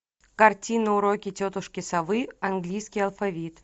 картина уроки тетушки совы английский алфавит